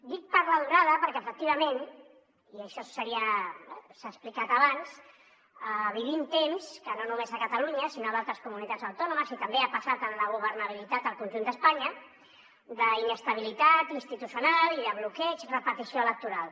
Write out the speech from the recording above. dic per la durada perquè efectivament i això s’ha explicat abans vivim temps que no només a catalunya sinó a d’altres comunitats autònomes i també ha passat en la governabilitat al conjunt d’espanya d’inestabilitat institucional i de bloqueig repetició electoral